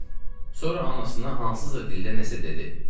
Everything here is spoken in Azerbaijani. Sonra anasına hansısa dildə nəsə dedi.